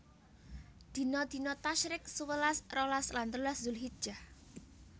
Dina dina Tasyrik sewelas rolas lan telulas Zulhijjah